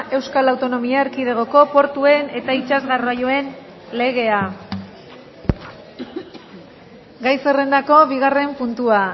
euskal autonomia erkidegoko portuen eta itsas garraioen legea gai zerrendako bigarren puntua